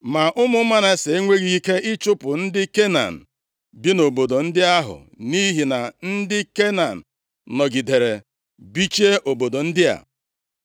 Ma ụmụ Manase enweghị ike ịchụpụ ndị Kenan bi nʼobodo ndị ahụ, nʼihi na ndị Kenan nọgidere bichie obodo ndị a.